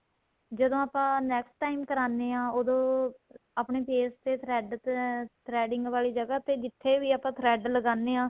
ਜਦੋਂ ਆਪਾਂ next time ਕਰਾਣੇ ਹਾਂ ਉਹਦੋ ਆਪਣੇਂ face ਤੇ thread threading ਵਾਲੀ ਜਗਾਂ ਤੇ ਜਿਥੇ ਵੀ ਆਪਾਂ thread ਲਗਾਨੇ ਹਾਂ